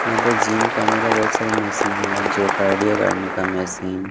यहाँ पे जीम करने का बहुत सारे मशीन हैजो कार्डिया करने का मशीन --